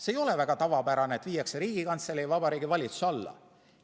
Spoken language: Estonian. See ei ole väga tavapärane, et viiakse Riigikantselei ja Vabariigi Valitsuse alla.